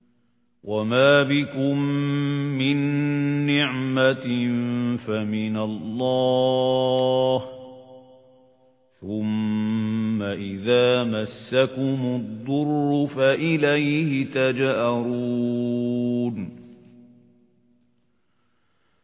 وَمَا بِكُم مِّن نِّعْمَةٍ فَمِنَ اللَّهِ ۖ ثُمَّ إِذَا مَسَّكُمُ الضُّرُّ فَإِلَيْهِ تَجْأَرُونَ